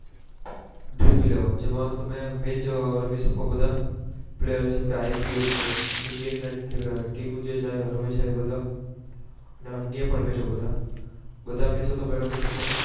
Dream eleven જેમાં તમે Match રમી શકો બધા જેમ કે IPL છે. indian Team નું છે જે રમે છે. અને અન્ય પણ Match બધા તમે રમી